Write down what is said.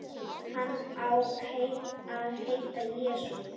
Hann á að heita Jesú.